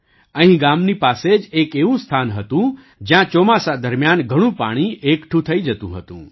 અહીં ગામની પાસે જ એક એવું સ્થાન હતું જ્યાં ચોમાસા દરમિયાન ઘણું પાણી એકઠું થઈ જતુ હતું